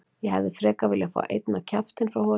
Ég hefði frekar viljað fá einn á kjaftinn frá honum.